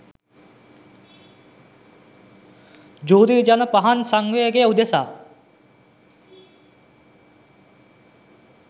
ජුදී ජන පහන් සාංවේගය උදෙසා